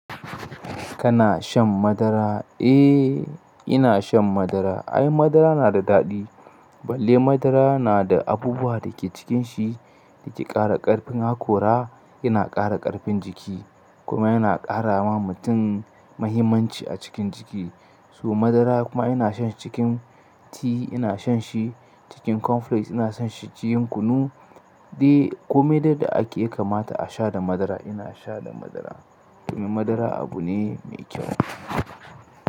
Kana shan madara? Eh, ina shan madara. Ai, madara na da daɗi. Balle madara na da abubuwa da ke cikin shi da ke ƙara ƙarfin hakora. Yana ƙara ƙarfin jiki kuma yana ƙara wa mutum mahimmanci a cikin jiki. Su madara kuma ina shan shi cikin ti, ina shan shi cikin cornflakes, ina shan shi cikin kunu. Dai kome dai de ake kamata a sha da madara, ina sha da madara. Domin madara abu ne mai kyau.